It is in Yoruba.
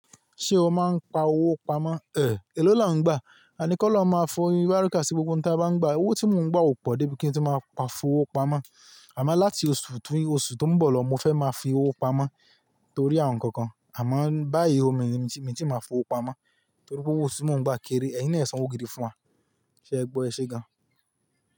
Ṣé o máa ń pa owó pamọ́? Ẹ̀, èló là ń gbà? A ní kí ó lọ máa fún oyin barika sí gbogbo ohun tí a bá ń gbà. Owó tí mò ń gbà ò pọ̀ débi kí n tíì máa pa fowó pamọ́. Àmá láti oṣù tún osù tó ń bọ̀ lọ, mo fẹ́ máa fi owó pamọ́ torí ohun kan kan. Àmá báyìí o, mi ò tíì máa fowó pamọ́ torí pé owó tí mò ń gbà kéré. Ẹ̀yin náà san ògiri fún wa. Ṣé ẹ gbọ́ ẹ ṣe gan?